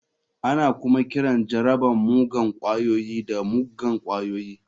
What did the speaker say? Ana kuma kiran jarabar muggan ƙwayoyi da muggan ƙwayoyi.